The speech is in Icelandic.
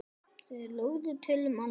Þeir lugu til um aldur.